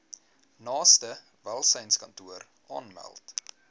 naaste welsynskantoor aanmeld